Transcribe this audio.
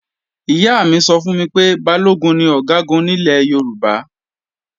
Ìyá mi sọ fún mi pé Balógun ni Ọ̀gágun nílẹ̀ Yorùbá